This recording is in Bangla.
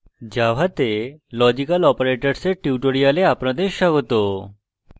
জাভাতে logical operators লজিক্যাল operators এর tutorial আপনাদের স্বাগত